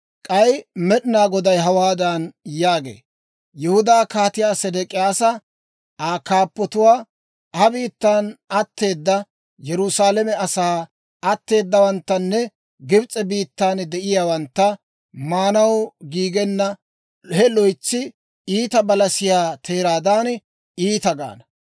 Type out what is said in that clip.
«K'ay Med'inaa Goday hawaadan yaagee; ‹Yihudaa Kaatiyaa Sedek'iyyaasa, Aa kaappatuwaa, ha biittan atteeda Yerusaalame asaa atteeddawanttanne Gibs'e biittan de'iyaawantta, maanaw giigenna he loytsi iita balasiyaa teeraadan iita gaana.